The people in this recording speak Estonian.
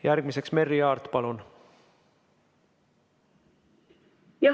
Järgmiseks Merry Aart, palun!